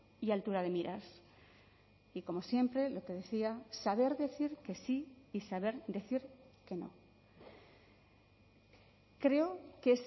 y altura de miras y como siempre lo que decía saber decir que sí y saber decir que no creo que